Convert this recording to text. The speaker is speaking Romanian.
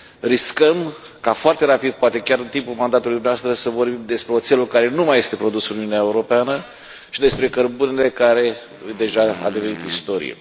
Riscăm ca foarte rapid, poate chiar în timpul mandatului dumneavoastră, să vorbim despre oțelul care nu mai este produs în Uniunea Europeană și despre cărbunele care deja a devenit istorie.